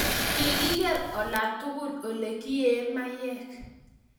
kikiger ola tugul ole kie mayek